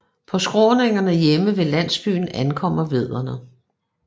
På skråningerne hjemme ved landsbyen ankommer vædderne